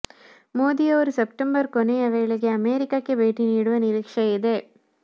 ಮೋದಿ ಅವರು ಸೆಪ್ಟೆಂಬರ್ ಕೊನೆಯ ವೇಳೆಗೆ ಅಮೆರಿಕಕ್ಕೆ ಭೇಟಿ ನೀಡುವ ನಿರೀಕ್ಷೆ ಇದೆ